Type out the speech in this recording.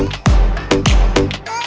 так